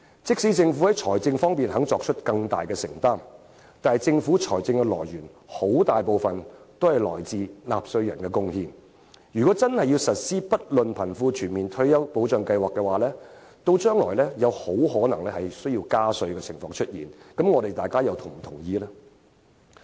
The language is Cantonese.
即使政府願意在財政方面作出更大的承擔，但政府財政收入的來源，很大部分來自納稅人的"貢獻"，倘若真的推行不論貧富的全民退休保障計劃的話，將來很可能需要加稅，那麼大家又會否同意呢？